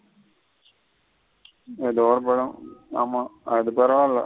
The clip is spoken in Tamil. ஆமா அது பரவில்ல.